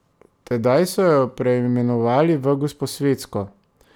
Tedaj so jo preimenovali v Gosposvetsko.